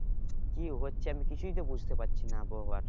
কি হচ্ছে আমি কিছুই তো বুঝতে পারছি না আবহাওয়ার